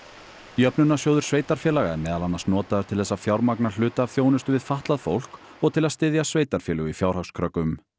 jöfnunarsjóður sveitarfélaga er meðal annars notaður til þess að fjármagna hluta af þjónustu við fatlað fólk og til að styðja sveitarfélög í fjárhagskröggum